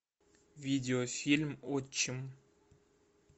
видеофильм отчим